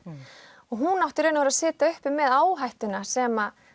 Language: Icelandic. og hún átti í raun og veru að sitja uppi með áhættuna sem